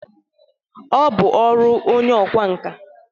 Ọ bụ ọrụ onye ọkwa nka